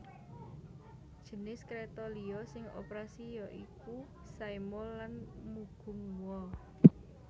Jinis kréta liya sing operasi ya iku Saemaul lan Mugunghwa